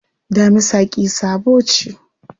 Damisa ƙi-sabo ce.